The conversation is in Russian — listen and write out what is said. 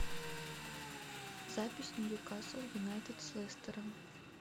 запись ньюкасл юнайтед с лестером